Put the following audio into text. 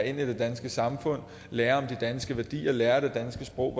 ind i det danske samfund lærer om de danske værdier og lærer det danske sprog